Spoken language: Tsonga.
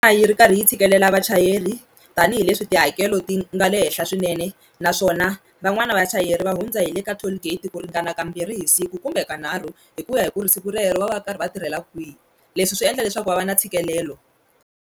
A yi ri karhi yi tshikelela vachayeri tanihileswi tihakelo ti nga le henhla swinene naswona van'wani vachayeri va hundza hi le ka toll gate ku ringana kambirhi hi siku kumbe kanharhu hi ku ya hi ku ri siku rero va va karhi va tirhela kwihi leswi swi endla leswaku va va na ntshikelelo.